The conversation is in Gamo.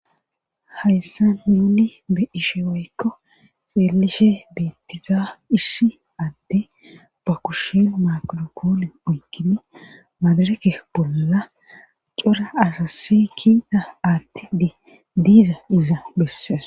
hayssan nuuni be7ishe woykko xeelishe beettizaa isshi adde ba kushin magirakoole oyikidi maadareke bolla cora asassi kiita attidi diiza iza bessees